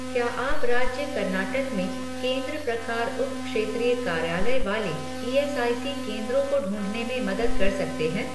क्या आप राज्य कर्नाटक में केंद्र प्रकार उप क्षेत्रीय कार्यालय वाले ईएसआईसी केंद्रों को ढूँढने में मदद कर सकते हैं